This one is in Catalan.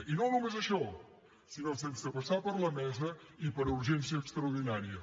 i no només això sinó sense passar per la mesa i per urgència extraordinària